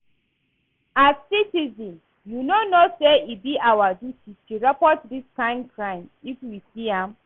As citizen you no know say e be our duty to report dis kyn crime if we see am?